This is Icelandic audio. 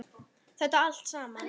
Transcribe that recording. Þetta allt saman.